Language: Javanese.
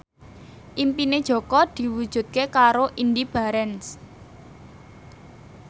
impine Jaka diwujudke karo Indy Barens